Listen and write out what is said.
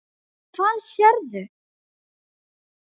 Hvað sérðu?